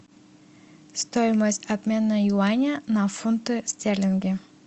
стоимость обмена юаня на фунты стерлинги